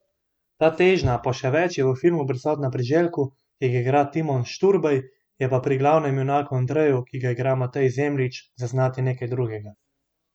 Ta težnja po še več je v filmu prisotna pri Željku, ki ga igra Timon Šturbej, je pa pri glavnemu junaku Andreju, ki ga igra Matej Zemljič, zaznati nekaj drugega.